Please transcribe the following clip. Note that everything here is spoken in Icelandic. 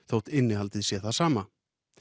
þótt innihaldið sé það sama